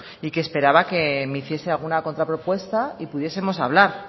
y que esperaba que me hiciese alguna contrapropuesta y pudiesemos hablar